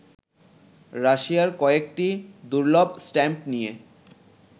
রাশিয়ার কয়েকটি দুর্লভ স্ট্যাম্প নিয়ে